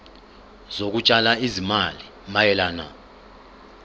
zokutshala izimali mayelana